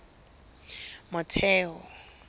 motheo